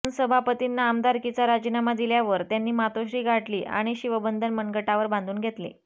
पण सभापतींना आमदारकीचा राजीनामा दिल्यावर त्यांनी मातोश्री गाठली आणि शिवबंधन मनगटावर बांधून घेतले